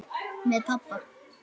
Með pabba.